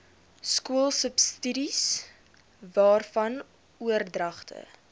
skoolsubsidies waarvan oordragte